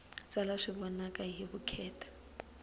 tsala swi vonaka hi vukheta